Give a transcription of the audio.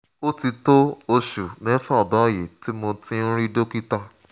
ó ti tó oṣù mẹ́fà báyìí tí mo ti ń rí dókítà